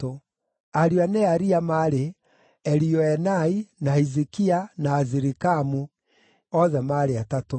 Ariũ a Nearia maarĩ: Elioenai, na Hizikia, na Azirikamu; othe maarĩ atatũ.